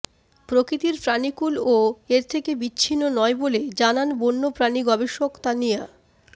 প্রকৃতির প্রাণীকূলও এর থেকে বিচ্ছিন্ন নয় বলে জানান বন্যপ্রাণী গবেষক তানিয়া